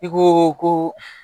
I ko ko